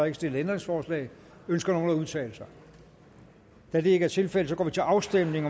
ikke stillet ændringsforslag ønsker nogen at udtale sig da det ikke er tilfældet går vi til afstemning